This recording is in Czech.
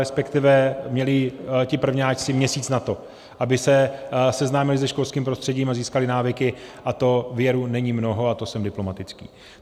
Respektive měli ti prvňáčci měsíc na to, aby se seznámili se školským prostředím a získali návyky, a to věru není mnoho, a to jsem diplomatický.